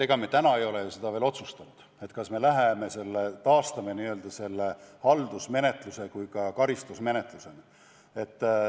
Ega me täna ei ole ju seda veel otsustanud, kas me taastame selle haldusmenetluse ka karistusmenetlusena.